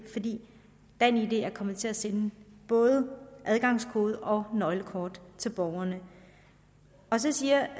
fordi danid er kommet til at sende både adgangskode og nøglekort til borgerne så siger